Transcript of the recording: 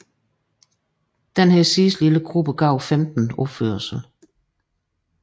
Denne sidste lille gruppe gav femten opførelser